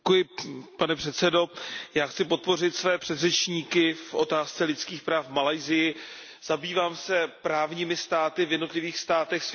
Pane předsedající, já chci podpořit své předřečníky v otázce lidských práv v Malajsii. Zabývám se právními státy v jednotlivých státech světa.